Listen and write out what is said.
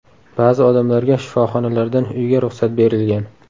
Ba’zi odamlarga shifoxonalardan uyga ruxsat berilgan.